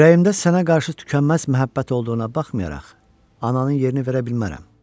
Ürəyimdə sənə qarşı tükənməz məhəbbət olduğuna baxmayaraq, ananın yerini verə bilmərəm.